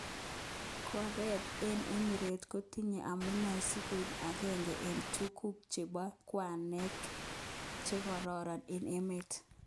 Koreng eng Emirates kotinye amune sikoik agenge eng tukuk chebo kwenet chekororon eng emet.